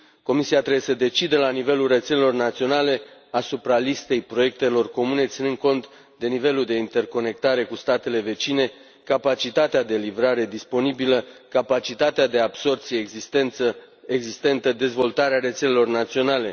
Comisia trebuie să decidă la nivelul rețelelor naționale asupra listei proiectelor comune ținând cont de nivelul de interconectare cu statele vecine, capacitatea de livrare disponibilă, capacitatea de absorbție existentă, dezvoltarea rețelelor naționale.